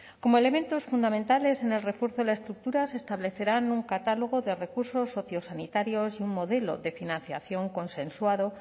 como elementos fundamentales en el refuerzo de la estructura se establecerá un catálogo de recursos sociosanitarios y un modelo de financiación consensuado